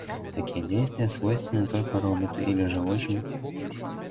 такие действия свойственны только роботу или же очень